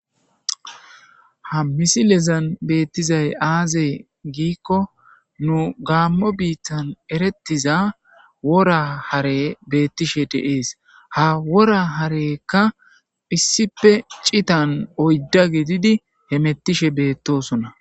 ha misilezan beettizay aazey giikko nu gammo biittan erettiza wora hare beettishshe de'ees ha wora harekka issipe cittan oydda gididi hemettishe beettosona